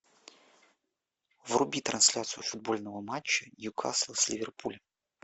вруби трансляцию футбольного матча ньюкасл с ливерпулем